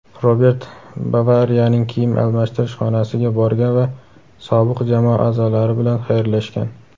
Robert "Bavariya"ning kiyim almashtirish xonasiga borgan va sobiq jamoa a’zolari bilan xayrlashgan.